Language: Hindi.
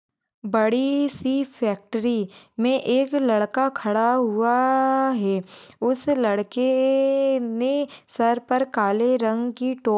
बड़ी सी फ़ैक्टरि मे एक बड़ा सा लड़का खड़ा हुआ हैं। उसस लड़के ने सर पर काले रंग की टो--